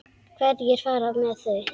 Hverjir fara með þau?